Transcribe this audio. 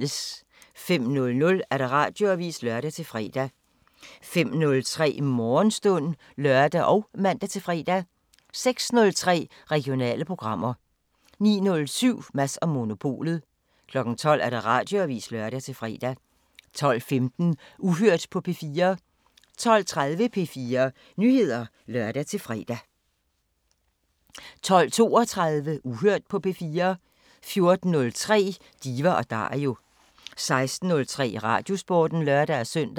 05:00: Radioavisen (lør-fre) 05:03: Morgenstund (lør og man-fre) 06:03: Regionale programmer 09:07: Mads & Monopolet 12:00: Radioavisen (lør-fre) 12:15: Uhørt på P4 12:30: P4 Nyheder (lør-fre) 12:32: Uhørt på P4 14:03: Diva & Dario 16:03: Radiosporten (lør-søn)